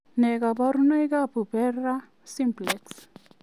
Nee kabarunoikab Purpura simplex?